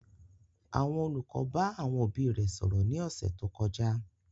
Àwọn olùkọ́ bá àwọn òbí rẹ̀ sọ̀rọ̀ ní ọ̀sẹ̀ tó kọjá